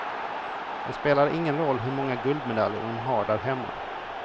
Det spelar ingen roll hur många guldmedaljer hon har där hemma.